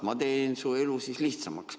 Ma teen siis su elu lihtsamaks.